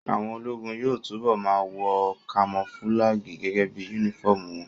Àwọn ológun yóò túbọ̀ ma wọ kamofúlágì gẹ́gẹ́ bí yúnífọ̀mù wọn